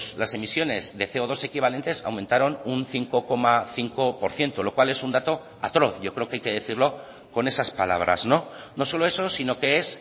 las emisiones de ce o dos equivalentes aumentaron un cinco coma cinco por ciento lo cual es un dato atroz yo creo que hay que decirlo con esas palabras no solo eso sino que es